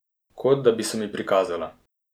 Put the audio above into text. Kot da bi se mi prikazala.